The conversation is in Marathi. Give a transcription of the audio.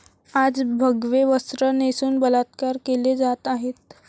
आज भगवे वस्त्र नेसून बलात्कार केले जात आहेत.